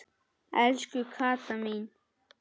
Elsku Kata mín.